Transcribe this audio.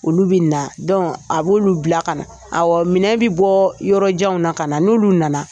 Ulu bɛ na a b'ulu bila ka na awɔ minɛ bi bɔ yɔrɔjanw na ka na n'ulu